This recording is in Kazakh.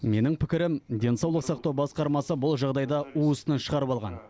менің пікірім денсаулық сақтау басқармасы бұл жағдайды уысынан шығарып алған